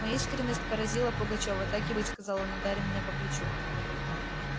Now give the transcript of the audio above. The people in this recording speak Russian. моя искренность поразила пугачёва так и быть сказал он ударя меня по плечу